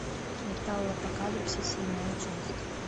металлопокалипсис седьмая часть